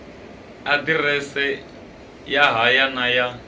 aḓirese ya haya na ya